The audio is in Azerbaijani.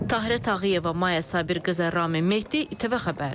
Tahirə Tağıyeva, Maya Sabirqızı, Ramin Mehdi, ATV Xəbər.